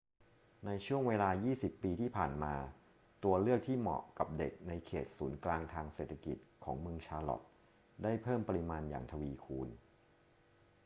ในช่วงเวลา 20 ปีที่ผ่านมา ตัวเลือกที่เหมาะกับเด็กในเขตศูนย์กลางทางเศรษฐกิจของเมืองชาร์ลอตต์ได้เพิ่มปริมาณอย่างทวีคูณ